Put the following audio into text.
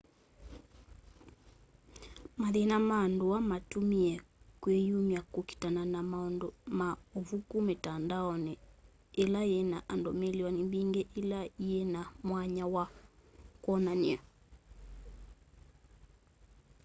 mathĩna ma ndũa matũmĩe kwĩyũmya kũkitana na maũndũ ma ũvũkũ mitandaonĩ ĩla yĩna andũ mĩlĩonĩ mbĩngĩ ĩla yĩ na mwanya wa kwonanya